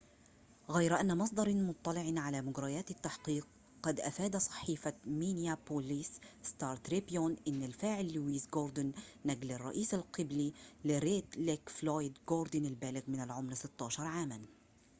غير أن مصدر مطلع على مجريات التحقيق قد أفاد صحيفة مينيابوليس ستار تريبيون إن الفاعل لويس جوردن نجل الرئيس القبلي لريد ليك فلويد جوردن البالغ من العمر 16 عاماً